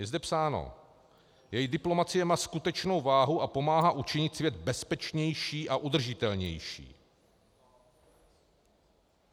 Je zde psáno: "Její diplomacie má skutečnou váhu a pomáhá učinit svět bezpečnější a udržitelnější."